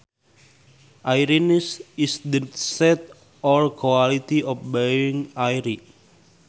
Airiness is the state or quality of being airy